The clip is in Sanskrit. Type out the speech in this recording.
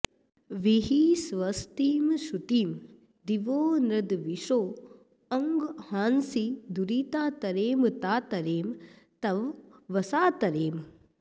वीहि स्वस्तिं सुक्षितिं दिवो नॄन्द्विषो अंहांसि दुरिता तरेम ता तरेम तवावसा तरेम